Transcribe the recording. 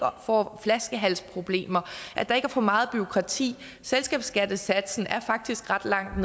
får flaskehalsproblemer og at der ikke er for meget bureaukrati selskabsskattesatsen er faktisk ret langt